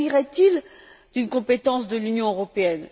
S'agirait il d'une compétence de l'Union européenne?